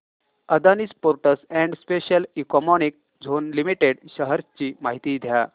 Adani ports and special economic zone limited shares ची माहिती द्या